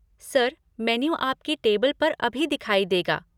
Sir, menu आपकी table पर अभी दिखाई देगा।